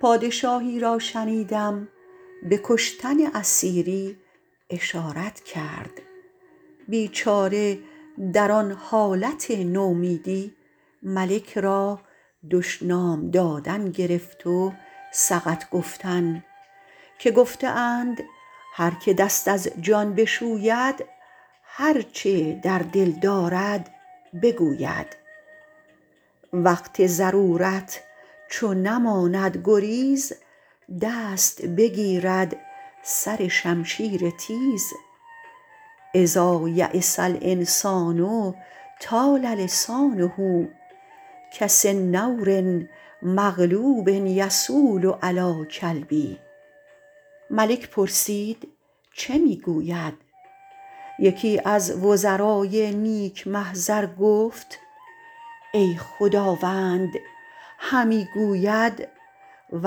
پادشاهی را شنیدم به کشتن اسیری اشارت کرد بیچاره در آن حالت نومیدی ملک را دشنام دادن گرفت و سقط گفتن که گفته اند هر که دست از جان بشوید هر چه در دل دارد بگوید وقت ضرورت چو نماند گریز دست بگیرد سر شمشیر تیز إذا ییس الإنسان طال لسانه کسنور مغلوب یصول علی الکلب ملک پرسید چه می گوید یکی از وزرای نیک محضر گفت ای خداوند همی گوید و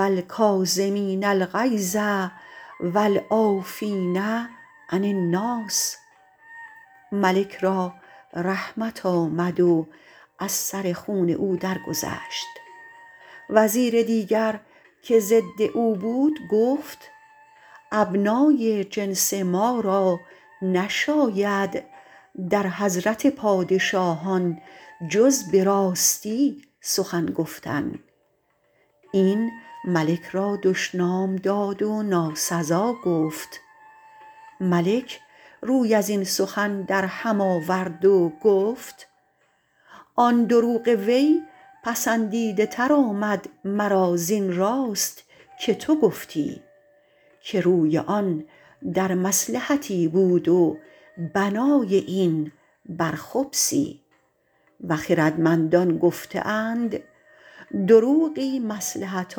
الکاظمین الغیظ و العافین عن الناس ملک را رحمت آمد و از سر خون او درگذشت وزیر دیگر که ضد او بود گفت ابنای جنس ما را نشاید در حضرت پادشاهان جز به راستی سخن گفتن این ملک را دشنام داد و ناسزا گفت ملک روی از این سخن در هم آورد و گفت آن دروغ وی پسندیده تر آمد مرا زین راست که تو گفتی که روی آن در مصلحتی بود و بنای این بر خبثی و خردمندان گفته اند دروغی مصلحت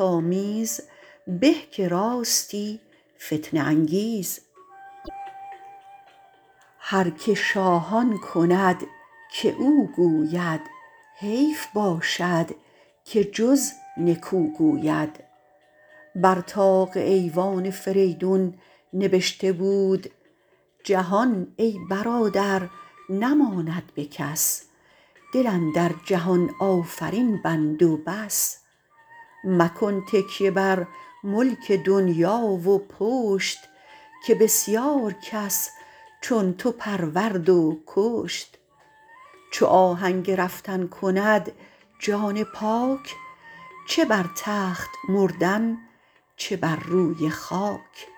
آمیز به که راستی فتنه انگیز هر که شاه آن کند که او گوید حیف باشد که جز نکو گوید بر طاق ایوان فریدون نبشته بود جهان ای برادر نماند به کس دل اندر جهان آفرین بند و بس مکن تکیه بر ملک دنیا و پشت که بسیار کس چون تو پرورد و کشت چو آهنگ رفتن کند جان پاک چه بر تخت مردن چه بر روی خاک